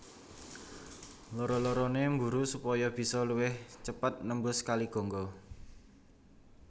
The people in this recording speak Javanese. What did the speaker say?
Loro lorone mburu supaya bisa luwih cepet nembus Kali Gangga